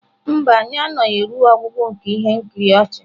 Mba, anyị anọghị ruo ọgwụgwụ nke ihe nkiri ọchị.